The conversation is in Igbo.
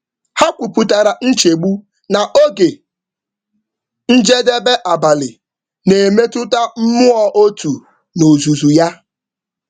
Ha kwupụtara nchegbu na oge njedebe abalị na-emetụta mmụọ otu n’ozuzu ya.